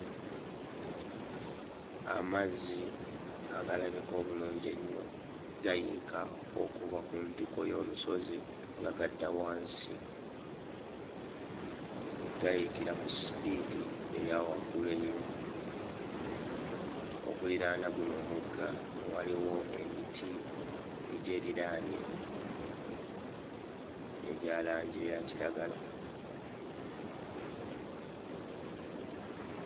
Amazzi agalabika obulungi ennyo gayiika okuva ku ntikko y'olusozi nga gadda wansi. Gayiikira ku sipiidi eya waggulu ennyo. Okuliraana guno omugga waliwo emiti egyeriraanye egya langi eya kiragala.